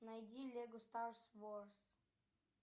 найди лего старс ворс